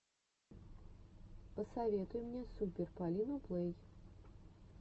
посоветуй мне супер полину плэй